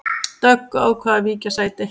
Dögg ákvað að víkja sæti